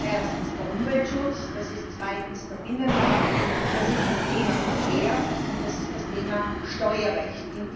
Das ist erstens der Umweltschutz, das ist zweitens der Binnenmarkt, das ist das Thema Verkehr und das ist das Thema Steuerrecht.